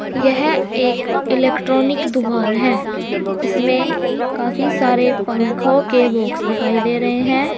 यह एक इलेक्ट्रॉनिक दुकान है इसमें काफी सारे पंखों के बॉक्स दिखाई दे रहे हैं।